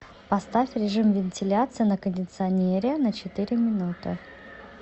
поставь режим вентиляции на кондиционере на четыре минуты